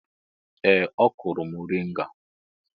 Ee! Ọ kụrụ mọrịnga.